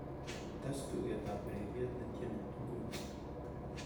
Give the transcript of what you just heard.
tes tuget ab ureryet netieni inguni